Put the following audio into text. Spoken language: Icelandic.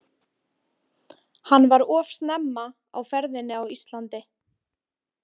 Hann var of snemma á ferðinni á Íslandi.